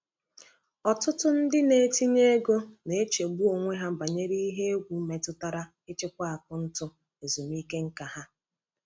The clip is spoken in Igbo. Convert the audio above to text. Ọtụtụ ndị na-etinye ego na-echegbu onwe ha banyere ihe egwu metụtara ịchịkwa akaụntụ ezumike nká ha.